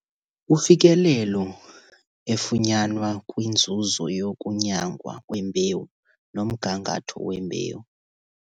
Ufikelelo efunyanwa kwinzuzo yokunyangwa kwembewu nomgangatho wembewu.